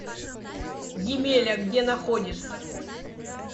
емеля где находится